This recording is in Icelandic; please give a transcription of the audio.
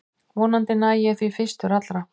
Vonandi næ ég því fyrstur allra